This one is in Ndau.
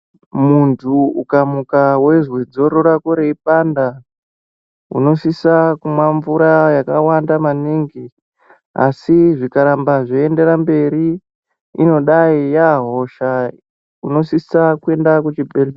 Muntu uka muka weizwe dzoro rako rei panda uno sisa kumwa mvura yaka waka naka maningi asi zvika ramba zvichi enderera mberi inodai ya hosha inosisa kuenda ku chi bhedhlera.